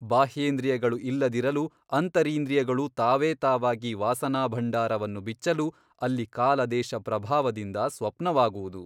ಬಾಹ್ಯೇಂದ್ರಿಯಗಳು ಇಲ್ಲದಿರಲು ಅಂತರಿಂದ್ರಿಯಗಳು ತಾವೇ ತಾವಾಗಿ ವಾಸನಾಭಂಡಾರವನ್ನು ಬಿಚ್ಚಲು ಅಲ್ಲಿ ಕಾಲದೇಶಪ್ರಭಾವದಿಂದ ಸ್ವಪ್ನವಾಗುವುದು.